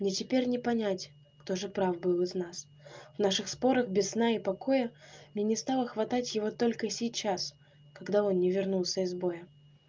мне теперь не понять кто же прав был из нас наших споров без сна и покоя мне не стало хватать его только сейчас когда он не вернулся из боя